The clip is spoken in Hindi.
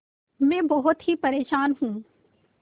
मैं बहुत ही परेशान हूँ